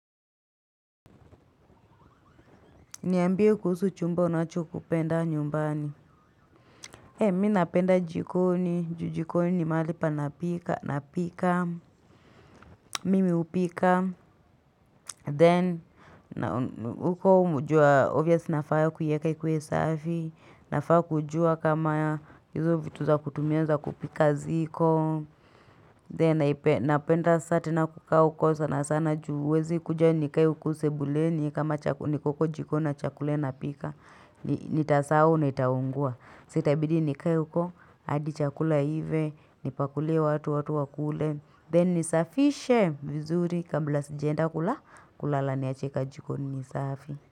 Niambie kuhusu chumba unacho kupenda nyumbani. Mi napenda jikoni, ju jikoni ni mahali napika, napika, mimi upika, then uko umeujua, obviously nafaa kuiweka ikuwe safi, nafaa kujua kama hizo vitu za kutumia za kupika ziko. Then naipenda saa tena kukaa huko sana sana ju huwezi kuja nikae huku sebuleni kama niko huko jikoni na chakula napika. Nitasahau na itaungua. Sa itabidi nikae huko hadi chakula iive, nipakulie watu watu wakule. Then nisafishe vizuri kabla sijaenda kula kulala niache ka jikoni ni safi.